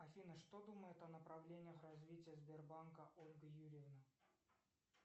афина что думает о направлениях развития сбербанка ольга юрьевна